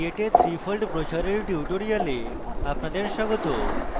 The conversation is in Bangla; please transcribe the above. create a 3fold brochure এর tutorial আপনাদের স্বাগত